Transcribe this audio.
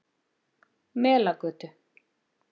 Melagötu